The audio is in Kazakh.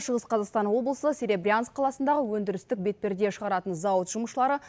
шығыс қазақстан облысы серебрянск қаласындағы өндірістік бетперде шығаратын зауыт жұмысшылары